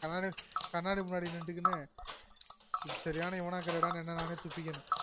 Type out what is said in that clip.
அடடெ கண்ணாடி முன்னாடி நின்னுகிகு சரியான இவனாகிரடானு என்ன நானே திட்டிகுவேன்